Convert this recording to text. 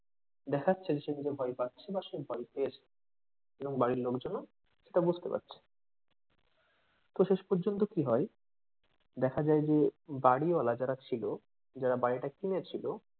দেখাচ্ছে যে সে কি যে ভয় পাচ্ছে বা পেয়েছে এবং বাড়ির লোকজনও তা বুঝতে পারছে তো শেষ পর্যন্ত কি হয় দেখা যায় যে বাড়িওয়ালা যারা ছিল যারা বাড়িটা কিনেছিল,